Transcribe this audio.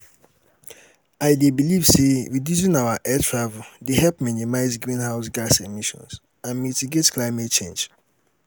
i dey believe say reducing air travel dey help minimize greenhouse gas emissions and mitigate climate change.